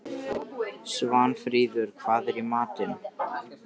Svanfríður, hvað er í matinn?